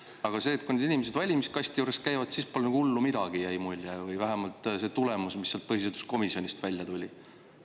Aga kui need inimesed valimiskasti juures käivad, siis pole nagu hullu midagi, jäi mulje, või vähemalt see oli see tulemus, mis põhiseaduskomisjonis välja tuli.